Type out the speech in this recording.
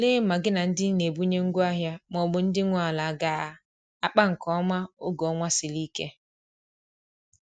Tụlee ma gi na ndi n'ebunye ngwa ahia maọbụ ndi nwe ala aga akpa nke oma oge ọnwa sịrị ike